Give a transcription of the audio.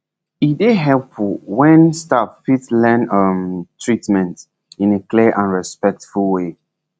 e dey helpful when staff fit explain treatment in clear and respectful way